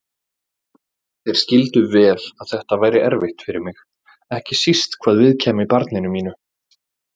Þeir skildu vel að þetta væri erfitt fyrir mig, ekki síst hvað viðkæmi barninu mínu.